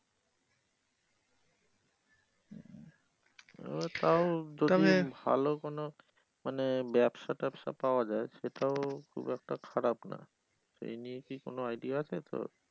আহ তাও যদি ভালো কোন মানে ব্যবসা টাবসা পাওয়া যায় সেটাও খুব একটা খারাপ না এই নিয়ে কি কোন idea আছে তোর?